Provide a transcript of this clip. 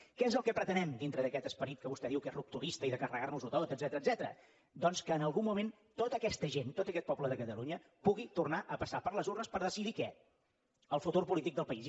què és el que pretenem dintre d’aquest esperit que vostè diu que és rupturista i de carregar nos ho tot etcètera doncs que en algun moment tota aquesta gent tot aquest poble de catalunya pugui tornar a passar per les urnes per decidir què el futur polític del país